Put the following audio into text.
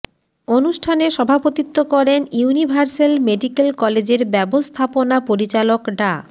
অনুষ্ঠানে সভাপতিত্ব করেন ইউনিভার্সেল মেডিক্যাল কলেজের ব্যবস্থাপনা পরিচালক ডা